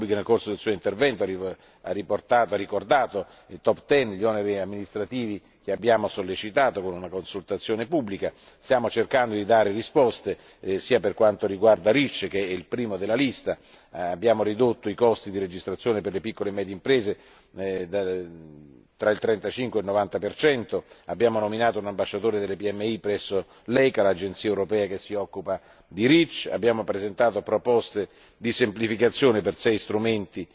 Nel corso del suo intervento, l'on. Rübig ha ricordato i Top ten gli oneri amministrativi che abbiamo sollecitato con una consultazione pubblica. Stiamo cercando di dare risposte per quanto riguarda REACH, che è il primo della lista, abbiamo ridotto i costi di registrazione per le piccole e medie imprese fra il 35 e il 90 percento, abbiamo nominato un ambasciatore delle PMI presso l'ECHA l'Agenzia europea che si occupa di REACH abbiamo presentato proposte di semplificazione per sei strumenti